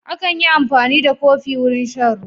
Akan yi amfani da kofi wurin shan ruwa.